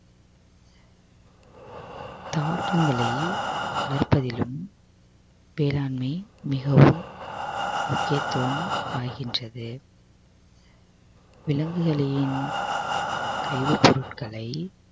தாவரங்களை வளர்ப்பதிலும் வேளாண்மை மிகவும் முக்கியத்துவம் பாய்கின்றது விலங்குகளின் சைவ பொருட்களை